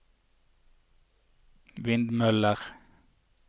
vindmøller